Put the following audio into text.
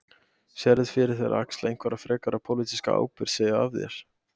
Sérðu fyrir þér að axla einhverja frekari pólitíska ábyrgð, segja af þér?